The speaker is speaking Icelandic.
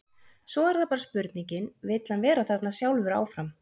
Svo er það bara spurningin, vill hann vera þarna sjálfur áfram?